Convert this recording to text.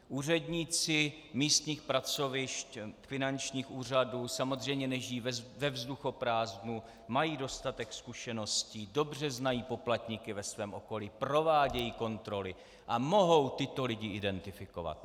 Úředníci místních pracovišť finančních úřadů samozřejmě nežijí ve vzduchoprázdnu, mají dostatek zkušeností, dobře znají poplatníky ve svém okolí, provádějí kontroly a mohou tyto lidi identifikovat.